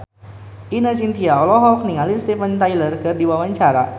Ine Shintya olohok ningali Steven Tyler keur diwawancara